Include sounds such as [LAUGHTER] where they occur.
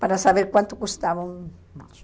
Para saber quanto custava um [UNINTELLIGIBLE]